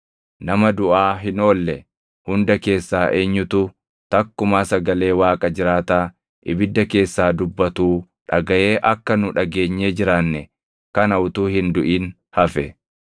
Nama duʼaa hin oolle hunda keessaa eenyutu takkumaa sagalee Waaqa jiraataa ibidda keessaa dubbatuu dhagaʼee akka nu dhageenyee jiraanne kana utuu hin duʼin hafe?